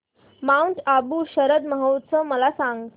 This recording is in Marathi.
माऊंट आबू शरद महोत्सव मला सांग